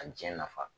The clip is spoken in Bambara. A diɲɛ nafa